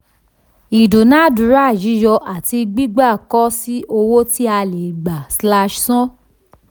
ìdúnàándúrà yíyọ àti gbigba kọ si owó tí a le gba/san.